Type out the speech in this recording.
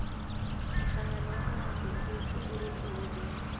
hlangano wa vamabindzu wu sungurile eholweni